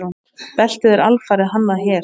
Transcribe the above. Beltið er alfarið hannað hér.